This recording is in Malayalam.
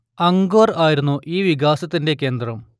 അങ്കോർ ആയിരുന്നു ഈ വികാസത്തിന്റെ കേന്ദ്രം